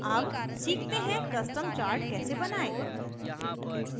अब सीखते हैं custom chart कैसे बनायें